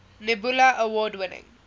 nebula award winning